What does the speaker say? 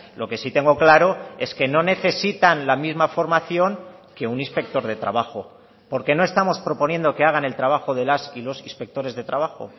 lo que sí tengo claro es que no necesitan la misma formación que un inspector de trabajo porque no estamos proponiendo que hagan el trabajo de las y los inspectores de trabajo